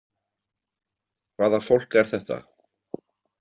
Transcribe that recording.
Hvaða fólk er þetta?